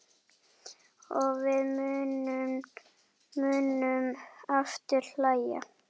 Og við munum aftur hlæja.